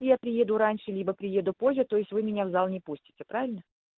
я приеду раньше либо приеду позже то есть вы меня в зал не пустите правильно